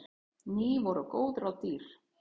Ný voru góð ráð dýr.